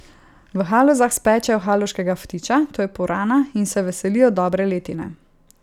V Halozah spečejo haloškega ftiča, to je purana, in se veselijo dobre letine.